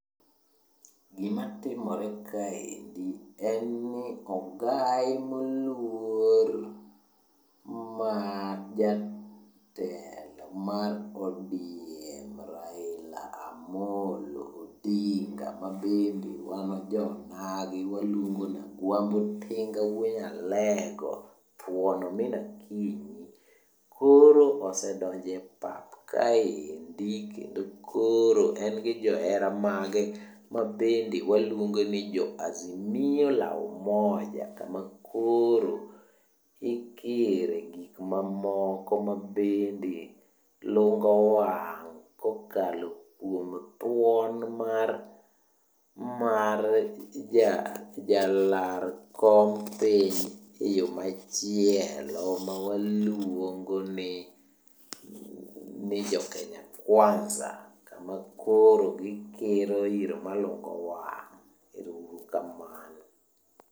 Gimatimore kaendi en ni ogai moluor mar jatelo mar ODM, Raila Amolo Odinga mabende wan jo onagi waluongo ni Agwambo Tinga wuo nyalego, thuon omin Akinyi koro osedonjo e pap kaendi. Kendo koro en gi johera mage mabende waluongo ni Azimio la Umoja, kama koro ikire gik mamoko mabende lungo wang' kokalo kuom thuon mar mar ja jalar kom piny eyo machielo mawaluongo ni ni jo Kenya Kwanza makoro gikiro iro malungo wango. Erouru kamano.